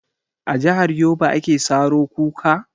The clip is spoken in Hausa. A jahar yobe ake saro kuka?